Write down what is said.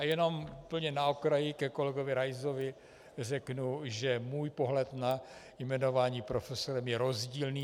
A jenom úplně na okraj ke kolegovi Raisovi řeknu, že můj pohled na jmenování profesorem je rozdílný.